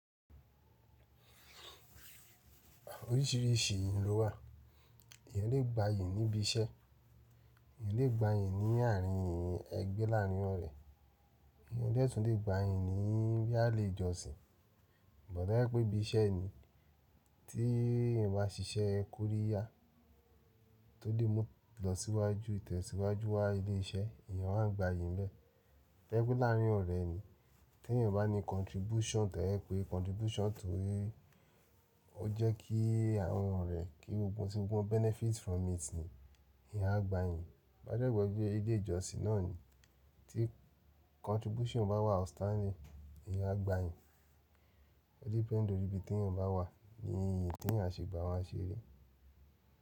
Oríṣìíríṣìí ìyí ló wà. Èyàn lè gba yìí níbi iṣẹ́, èyàn lè gba yìn ní àárín ẹgbẹ́ e láàrín ọ̀rẹ́, èyàn de tún lè gba yìn biya lejòsìn. But to ba jẹ pé bíṣẹ́ ni tí èyàn bá ṣíṣẹ́ Koriya tó lè mú lọ síwájú ìtẹ̀síwájú wa ilé iṣẹ́ èyàn a gbà yìí ń bẹ. Tobaje pe láàrín ọ̀rẹ́ ni tí èyàn bá ní contribution tàbí ẹ pé contribution tó le to jẹ́ kí àwọn ọ̀rẹ́ kí gbogbo ti gbogbo benefit from it ni ìyẹn a gbà yìí. Toba dẹ́je bí ile ìjọsìn náà ni tí contribution bá wà ọ̀standin eyẹn a gbà yìí. Ó dependi lorí ibi tí èyàn bá wà ni èyí tí èyàn a ṣe gba wọ́n á ṣe rí.